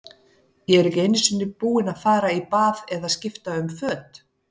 Ég er ekki einu sinni búinn að fara í bað eða skipta um föt.